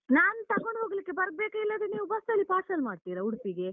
ನಾನ್ ತಗೊಂಡ್ ಹೋಗ್ಲಿಕ್ಕೆ ಬರ್ಬೇಕಾ? ಇಲ್ಲಾದ್ರೆ ನೀವು ಬಸ್ಸಲ್ಲಿ parcel ಮಾಡ್ತೀರಾ ಉಡುಪಿಗೆ?